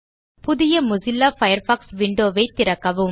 புதிய Mozilla Firefox window ஐத் திறக்கவும்